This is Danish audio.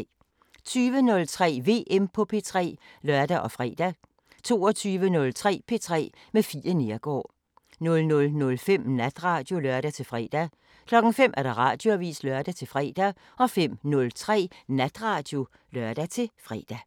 20:03: VM på P3 (lør og fre) 22:03: P3 med Fie Neergaard 00:05: Natradio (lør-fre) 05:00: Radioavisen (lør-fre) 05:03: Natradio (lør-fre)